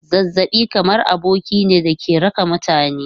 Zazzabi kamar aboki ne da ke raka mutane.